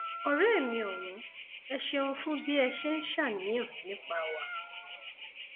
ọrẹ mi ọwọn ẹ ṣeun fún bí ẹ ṣe ń ṣàníyàn nípa wa